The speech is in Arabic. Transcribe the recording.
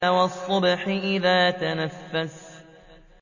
وَالصُّبْحِ إِذَا تَنَفَّسَ